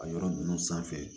A yɔrɔ ninnu sanfɛ